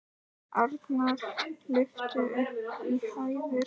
Arnar lyftist upp í hæðir.